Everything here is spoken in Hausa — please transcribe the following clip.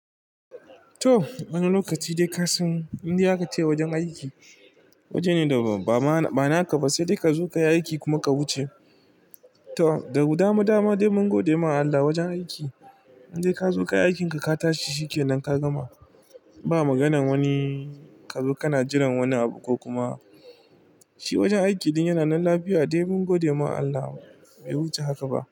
To! Wani lokaci dai kasan indai aka ce wajen aiki. Wajene da bama ba na ka ba sai dai ka zo ka yi aiki kuma ka wuce. To! Da dama dama dai mun gode ma Allah wajen aiki indai ka zo ka yi aikinka ka tashi shikenan ka gama. Ba maganan wani ka zo kana jiran wani abu ko kuma shi wajen aiki din yana nan lafiya dai mun gode ma Allah bai wuce haka ba.